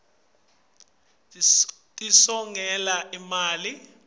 letinye tato tisongela imali